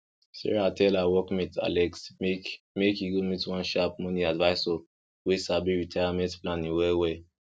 sarah tell her workmate alex make make e go meet one sharp moni advisor wey sabi retirement planning well well